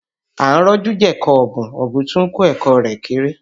À ń rọ́jú jẹ ẹ̀kọ ọ̀bùn, ọ̀bùn tún ń kọ ẹ̀kọ́ rẹ̀ kéré